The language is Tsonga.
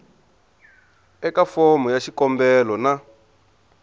eka fomo ya xikombelo na